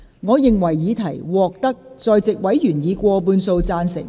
我認為議題獲得在席委員以過半數贊成。